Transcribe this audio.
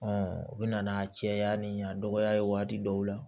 u bɛ na n'a cɛya ni a dɔgɔya ye waati dɔw la